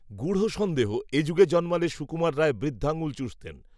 গূঢ সন্দেহ এ যুগে জন্মালে সুকুমার রায় বৃদ্ধাঙুল চুষতেন